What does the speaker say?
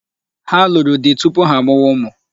Ha nụrụ di tupu ha amụwa ụmụ.